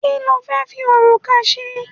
kilo fe fi okuta se